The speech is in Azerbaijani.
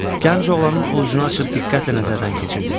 Gənc oğlanın ovucunu açıb diqqətlə nəzərdən keçirdi.